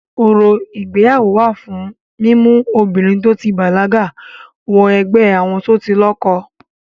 Orò ìgbéyàwó wà fún mímú obìnrin to ti bàlágà wọ ẹgbẹ́ àwọn tó ti lọ́kọ.